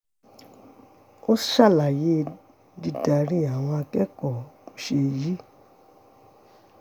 ó ṣàlàyé bí dídarí àwọn akẹ́kọ̀ọ́ ṣe yí